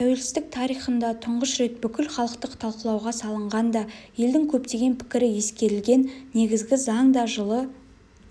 тәуелсіздік тарихында тұңғыш рет бүкілхалықтық талқылауға салынған да елдің көптеген пікірі ескерілген негізгі заң да жылы